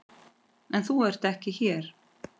En þú ert ekki hér.